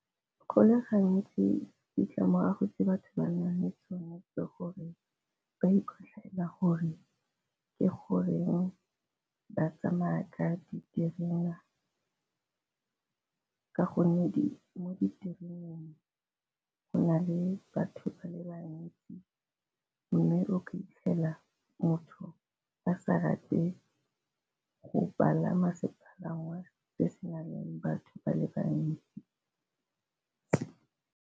Go le gantsi ditlamorago tse batho ba nale tsone ke gore ba ikotlhaela gore ke goreng ba tsamaya ka diterena ka gonne mo ditereneng go na le batho ba le bantsi, mme o fitlhela motho a sa rate go palama sepalangwa se se nang le batho ba le bantsi.